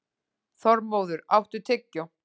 Þormóður, áttu tyggjó?